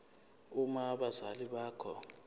uma abazali bakho